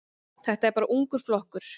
Þetta er bara ungur flokkur.